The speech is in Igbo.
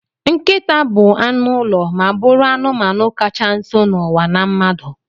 Nkịta bu anụ ụlọ ma bụrụ anụmanụ kacha nso n'ụwa na mmadụ